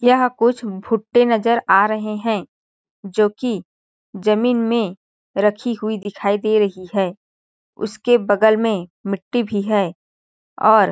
यहाँ कुछ भुट्टे नज़र आ रहे है जो कि जमीन में रखी हुई दिखाई दे रही है उसके बगल में मिट्टी भी है और --